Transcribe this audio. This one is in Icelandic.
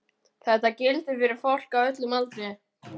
Þetta gildir fyrir fólk á öllum aldri.